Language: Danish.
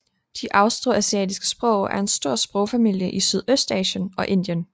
De austroasiatiske sprog er en stor sprogfamilie i Sydøstasien og Indien